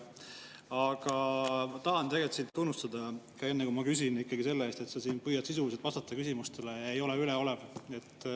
Aga ma tahan tegelikult sind tunnustada, enne kui ma küsin, ikkagi selle eest, et sa püüad sisuliselt vastata küsimustele ega ole üleolev.